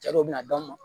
Cɛ dɔw bɛ na dɔn